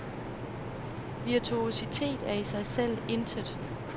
Virtuositet er i sig selv intet.